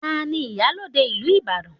Ta ni iyalode ìlú Ibadan?